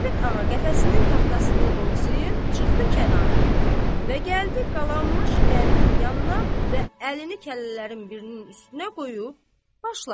Qarapet ağa qəfəsinin taxtasını qovzayıb çıxdı kənara və gəldi qalanmış qəndin yanına və əlini kəllələrin birinin üstünə qoyub başladı.